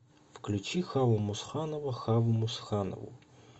включи хаву мусханова хаву мусханову